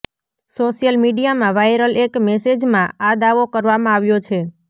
social મીડિયામાં viral એક મેસેજમાં આ દાવો કરવામાં આવ્યો છે